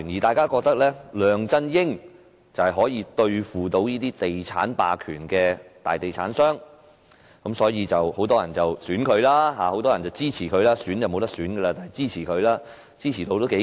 大家都認為梁振英可以對付那些地產霸權和大地產商，所以很多人選他或支持他，他當時的支持度頗高。